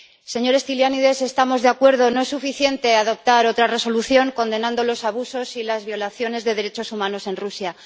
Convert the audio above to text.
Señor Stylianides, estamos de acuerdo no es suficiente adoptar otra resolución condenando los abusos y las violaciones de derechos humanos en Rusia.